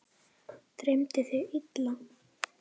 Dreymdi þig illa?